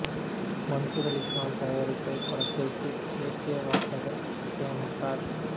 மன்சூர் அலி கான் தயாரித்த இப்படத்திற்கு A K Vasagan இசை அமைத்தார்